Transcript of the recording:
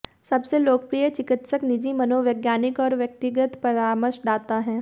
सबसे लोकप्रिय चिकित्सक निजी मनोवैज्ञानिक और व्यक्तिगत परामर्शदाता हैं